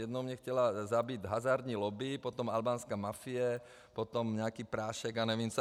Jednou mě chtěla zabít hazardní lobby, potom albánská mafie, potom nějaký prášek a nevím co.